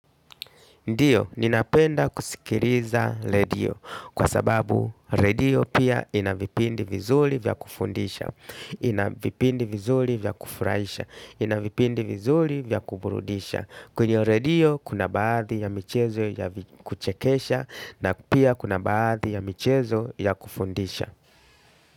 Ndiyo, ninapenda kusikiriza redio kwa sababu redio pia ina vipindi vizuli vya kufundisha, ina vipindi vizuli vya kufraisha, ina vipindi vizuli vya kuburudisha. Kwenye redio kuna baadhi ya michezo ya kuchekesha na pia kuna baadhi ya michezo ya kufundisha.